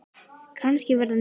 Kannski verða ný andlit.